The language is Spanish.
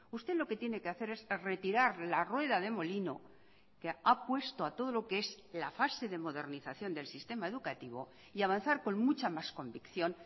usted lo que tiene que hacer es retirar la rueda de molino que ha puesto a todo lo que es la fase de modernización del sistema educativo y avanzar con mucha más convicción